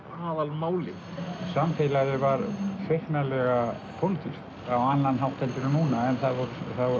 aðalmálið samfélagið var feiknarlega pólitískt á annan hátt heldur en núna en það voru